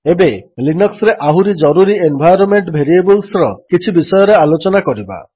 ଏବେ ଲିନକ୍ସରେ ଆହୁରି ଜରୁରୀ ଏନ୍ଭାଇରୋନ୍ମେଣ୍ଟ ଭେରିଏବଲ୍ସର କିଛି ବିଷୟରେ ଆଲୋଚନା କରିବା